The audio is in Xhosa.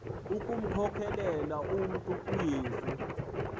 ukumkhokelela umntu kuyesu